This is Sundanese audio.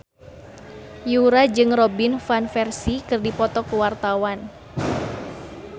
Yura jeung Robin Van Persie keur dipoto ku wartawan